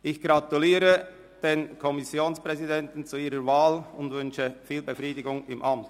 Ich gratuliere den Kommissionspräsidenten zu ihrer Wahl und wünsche ihnen viel Befriedigung im Amt.